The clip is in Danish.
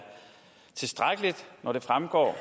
tilstrækkeligt når det fremgår at